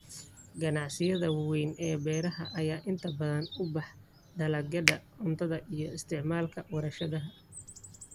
Ganacsiyada waaweyn ee beeraha ayaa inta badan u baxa dalagyada cuntada iyo isticmaalka warshadaha.